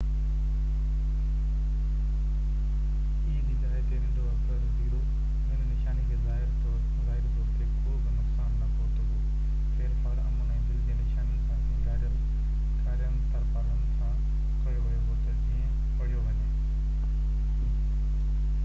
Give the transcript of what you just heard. هن نشاني کي ظاهري طور تي ڪو به نقصان نہ پهتو هو ڦيرڦار امن ۽ دل جي نشانين سان سينگاريل ڪارين ترپالن سان ڪيو ويو هو تہ جيئن o جي جاءِ تي ننڍو اکر e پڙهيو وڃي